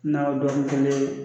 Na bɔ ni kelen